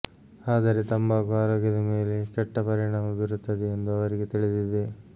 ಆದರೆ ತಂಬಾಕು ಆರೋಗ್ಯದ ಮೇಲೆ ಕೆಟ್ಟ ಪರಿಣಾಮ ಬೀರುತ್ತದೆಯೆಂದು ಅವರಿಗೆ ತಿಳಿದಿದೆ